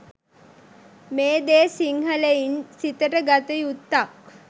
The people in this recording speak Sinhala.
මේ දේ සිංහලයින් සිතට ගත යුත්තක්.